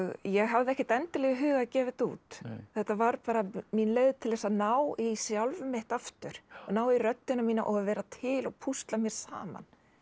ég hafði ekkert endilega í huga að gefa þetta út þetta var bara mín leið til þess að ná í sjálf mitt aftur ná í röddina mína og vera til og púsla mér saman